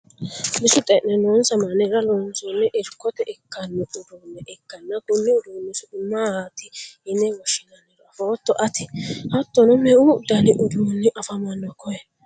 bisu xe'ne noonsa mannira loonsonni irkote ikkanno uduunne ikkanna konni uduunni su'ma maati yine woshshinanniro afootto ati? hattono meu dani uduunni afamanno koye?